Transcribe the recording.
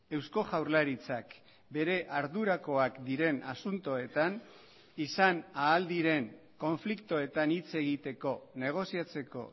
eusko jaurlaritzak bere ardurakoak diren asuntoetan izan ahal diren konfliktoetan hitz egiteko negoziatzeko